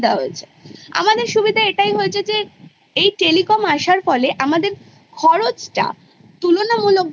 সেই Base কে কেন্দ্র করে আমরা বড়ো হয় এবং সেটাই আমরা এগিয়ে নিয়ে যাই আমাদের আগামী চলার পথেই